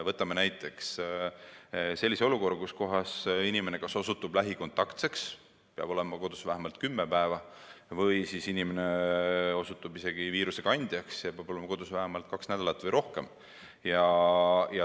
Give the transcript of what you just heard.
Vaatame näiteks sellist olukorra, kus inimene osutub lähikontaktseks ja peab olema kodus vähemalt kümme päeva või ta osutub isegi viirusekandjaks ja peab olema kodus vähemalt kaks nädalat või rohkem.